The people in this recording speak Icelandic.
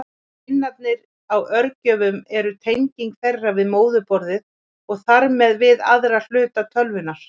Pinnarnir á örgjörvum eru tenging þeirra við móðurborðið og þar með við aðra hluta tölvunnar.